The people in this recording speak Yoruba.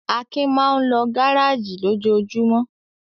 Akin máa ń lọ gárájì lójoojúmọ́.